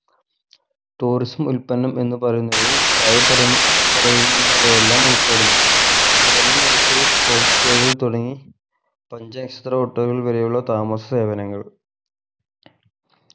tourism ഉത്പന്നം എന്നു പറയുന്നതിൽ താഴെ പറയുന്ന പറയുന്നവയെല്ലാം ഉൾപ്പെടുന്നു കുറഞ്ഞ നിരക്കിൽ home stay കൾ തുടങ്ങി പഞ്ചനക്ഷത്ര hotel വരെയുള്ള താമസ സേവനങ്ങൾ